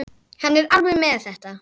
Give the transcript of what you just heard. Hann er alveg með þetta.